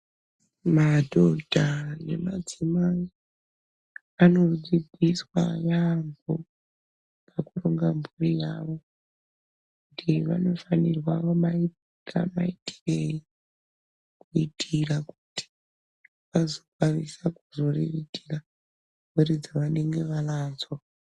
Madhodha ne madzimai ano dzidziswa yambo paku ronga mburi yavo kuti vanofanirwa kumaita maitirei kuitira kuti azo kwanisa kuzo riritira mhuri dzavanenge vanadzo.